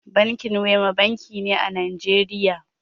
Binkin Wema banki ne a Najeriya.